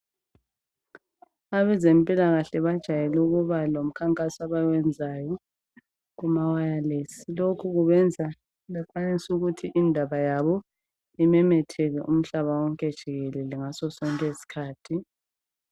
Abezempilakahle bajayele ukuba lomkhankaso abawenzayo kumawayalesi lokhu kubenza bekwanise ukuthi indaba yabo imemetheke umhlaba wonke jikelele ngaso sonke isikhathi.